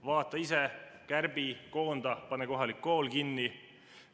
Vaata ise, kärbi, koonda, pane kohalik kool kinni.